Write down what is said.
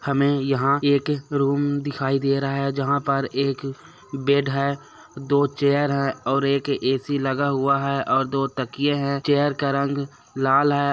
हमें यहाँ एक रूम दिखाई दे रहा है जहाँ पर एक बेड है दो चेयर है और एक ए.सी. लगा हुआ है और दो तकियें है चेयर का रंग लाल हैं।